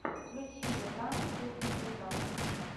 включи мне пранки кухни наизнанку